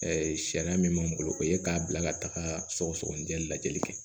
sariya min b'an bolo o ye k'a bila ka taga sɔgɔsɔgɔninjɛ lajɛli kɛ